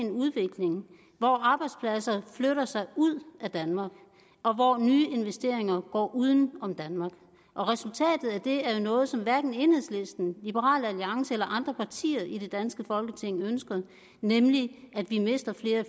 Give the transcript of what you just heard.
en udvikling hvor arbejdspladserne flytter sig ud af danmark og hvor nye investeringer går uden om danmark og resultatet af det er noget som hverken enhedslisten liberal alliance eller andre partier i det danske folketing ønsker nemlig at vi mister flere